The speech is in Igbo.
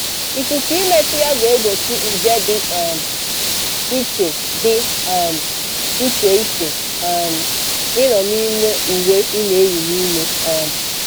Ikuku ịmetụ ya ga-egbochi nje dị um iche dị um iche iche um ịnọ n’ime uwe ị na-eyị n’ime. um